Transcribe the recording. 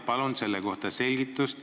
Palun selle kohta selgitust.